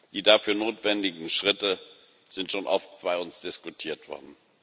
Die dafür notwendigen Schritte sind schon oft bei uns diskutiert worden.